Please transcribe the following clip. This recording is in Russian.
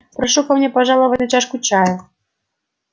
прошу ко мне пожаловать на чашку чая